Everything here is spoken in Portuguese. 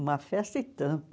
Uma festa e tanto.